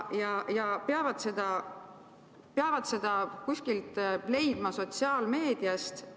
Nad peavad seda leidma kuskilt sotsiaalmeediast.